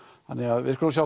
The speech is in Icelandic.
þannig við skulum sjá